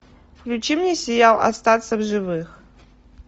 включи мне сериал остаться в живых